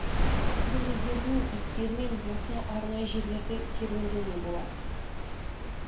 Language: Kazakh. енді өздерінің иттерімен осы арнайы жерлерде серуендеуіне болады